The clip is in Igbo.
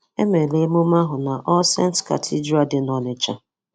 Emere emume ahụ na All Saints Cathedral dị n'Ọnịcha.